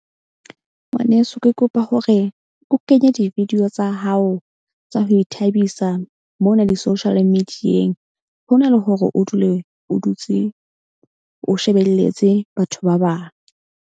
Ngwaneso ke kopa hore o kenye di-video tsa hao tsa ho ithabisa mona di-social media-eng. Ho na le hore o dule o dutse o shebelletse batho ba bang.